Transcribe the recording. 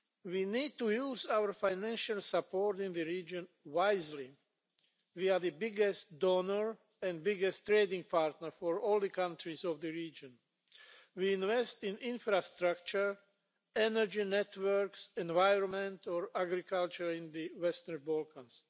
We need to use our financial support in the region wisely. We are the biggest donor and trading partner of all the countries of the region. We invest in infrastructure, energy networks, environment and agriculture in the Western Balkans.